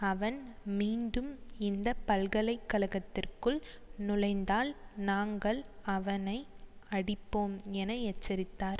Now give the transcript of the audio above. அவன் மீண்டும் இந்த பல்கலைக்கழகத்திற்குள் நுழைந்தால் நாங்கள் அவனை அடிப்போம் என எச்சரித்தார்